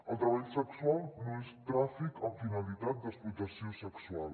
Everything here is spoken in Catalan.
el treball sexual no és tràfic amb finalitat d’explotació sexual